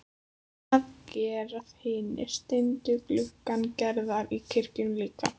Það gera hinir steindu gluggar Gerðar í kirkjunni líka.